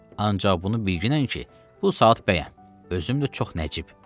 Ancaq bunu bilginən ki, bu saat bəyəm, özüm də çox nəcib.